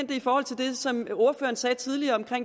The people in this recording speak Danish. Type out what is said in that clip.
det i forhold til det som ordføreren sagde tidligere om